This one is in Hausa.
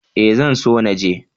Ee zan so na je.